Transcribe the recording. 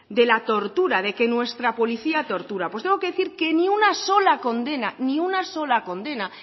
de la tortura de que nuestra policía tortura pues tengo que decir que ni una sola condena ni una sola condena